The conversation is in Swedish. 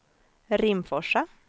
Rimforsa